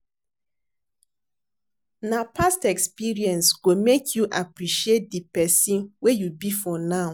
Na past experience go make you appreciate di pesin wey you be for now.